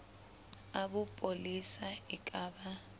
a bopolesa e ka ba